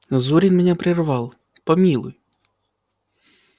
зурин меня прервал помилуй